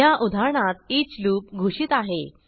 ह्या उदाहरणात each loop घोषित आहे